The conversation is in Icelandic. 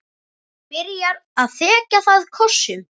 Byrjar að þekja það kossum.